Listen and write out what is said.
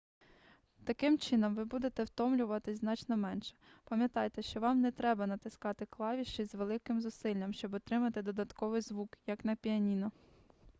таким чином ви будете втомлюватись значно менше пам'ятайте що вам не треба натискати клавіші з великими зусиллями щоб отримати додатковий звук як на піаніно